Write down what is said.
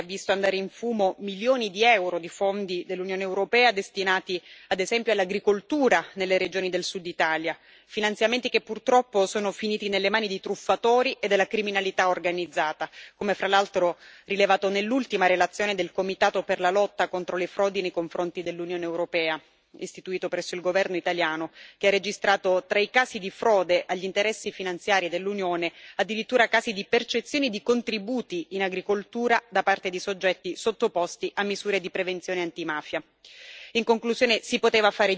Dico questo con la consapevolezza di chi ha visto andare in fumo milioni di euro di fondi dell'Unione europea, destinati ad esempio all'agricoltura nelle regioni del Sud Italia, finanziamenti che, purtroppo, sono finiti nelle mani di truffatori e della criminalità organizzata, come fra l'altro rilevato nell'ultima relazione del comitato per la lotta contro le frodi nei confronti dell'Unione europea, istituito presso il governo italiano, che ha registrato, tra i casi di frode agli interessi finanziari dell'Unione, addirittura casi di percezioni di contributi, in agricoltura, da parte di soggetti sottoposti a misure di prevenzione antimafia.